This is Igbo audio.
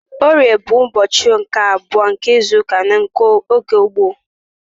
Orie bụ ụbọchị nke abụọ n'izuụka n'oge gboo.